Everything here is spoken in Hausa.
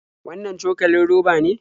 Wannan cokalin roba ne?